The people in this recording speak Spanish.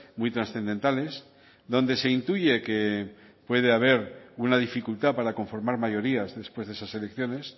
muy trascendentales donde se intuye que puede haber una dificultad para conformar mayorías después de esas elecciones